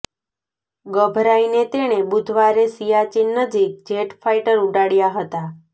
ગભરાઈને તેણે બુધવારે સિયાચીન નજીક જેટ ફાઇટર ઉડાડયાં હતાં